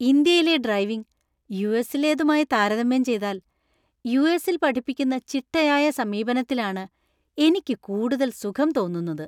ഇന്ത്യയിലെ ഡ്രൈവിംഗ് യുഎസിലേതുമായി താരതമ്യം ചെയ്താല്‍, യു.എസ്.ൽ പഠിപ്പിക്കുന്ന ചിട്ടയായ സമീപനത്തിലാണ് എനിക്ക് കൂടുതൽ സുഖം തോന്നുന്നത്.